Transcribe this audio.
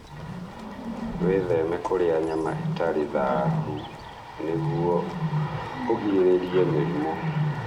Wĩtheme kũrĩa nyama itarĩ thaahu nĩguo ũgirĩrĩrie mĩrimũ.